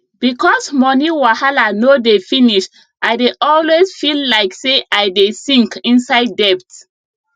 because moni wahala no dey finish i dey always feel like say i dey sink inside debt